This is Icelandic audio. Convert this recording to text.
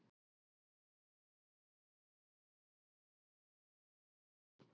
Það tré er betra sem bognar en hitt sem brestur.